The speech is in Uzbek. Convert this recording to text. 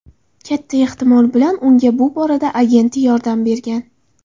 Katta ehtimol bilan unga bu borada agenti yordam bergan.